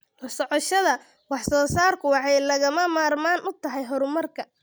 La socoshada wax soo saarku waxay lagama maarmaan u tahay horumarka.